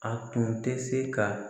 A tun tɛ se ka.